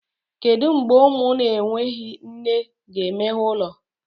Kedu mgbe ụmụ na-enweghị nne ga-emeghe ụlọ?